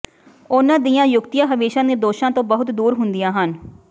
ਉਨ੍ਹਾਂ ਦੀਆਂ ਯੁਕਤੀਆਂ ਹਮੇਸ਼ਾ ਨਿਰਦੋਸ਼ਾਂ ਤੋਂ ਬਹੁਤ ਦੂਰ ਹੁੰਦੀਆਂ ਹਨ